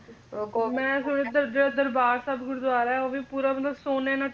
ਮੈਂ ਸੁਣਿਆ ਦਰ ਜਿਹੜਾ ਦਰਬਾਰ ਸਾਹਿਬ ਗੁਰਦੁਆਰਾ ਆ ਉਹ ਵੀ ਪੂਰਾ ਮਤਲਬ ਸੋਨੇ ਨਾਲ